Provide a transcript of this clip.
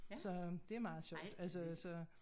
Så det er meget sjovt altså så